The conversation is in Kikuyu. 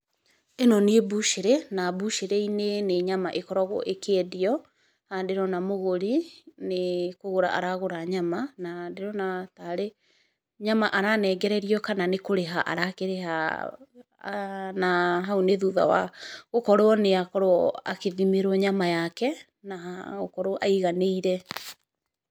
ĩno nĩ mbucĩrĩ, na mbucĩrĩ-inĩ nĩ nyama ĩkoragwo ĩkĩendio. Haha ndĩrona mũgũri, nĩ, kũgũra aragũra nyama, na ndĩrona tarĩ nyama aranengererio kana nĩkũrĩha arakĩrĩha, na hau nĩ thuta wa, gũkorwo nĩ akorwo, akĩthimĩrwo nyama yake, na gũkorwo aiganĩire.